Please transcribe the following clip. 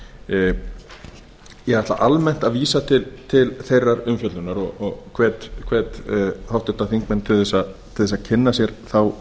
nefndarinnar ég ætla almennt að vísa til þeirrar umfjöllunar og hvet háttvirtir þingmenn til þess að kynna sér þá